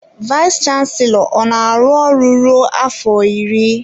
Vayis chansilọ ọ na-aru ruo afọ iri?